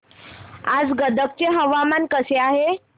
आज गदग चे हवामान कसे आहे